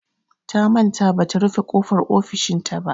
Ta manta bata rufe ƙofar ofishinta ba.